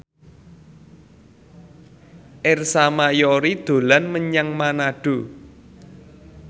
Ersa Mayori dolan menyang Manado